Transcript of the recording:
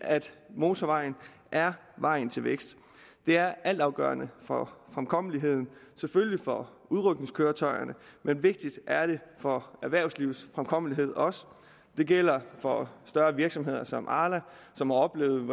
motorvejen er vejen til vækst det er altafgørende for fremkommeligheden selvfølgelig for udrykningskøretøjerne men vigtigst er det for erhvervslivets fremkommelighed og det gælder for større virksomheder som arla som har oplevet